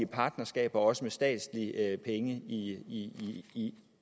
partnerskaber også med statslige penge i i